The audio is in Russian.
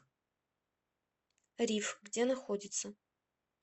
риф где находится